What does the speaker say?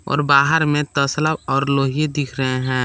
और बाहर में तसला और लोही दिख रहे हैं।